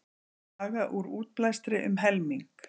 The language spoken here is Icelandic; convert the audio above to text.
Draga úr útblæstri um helming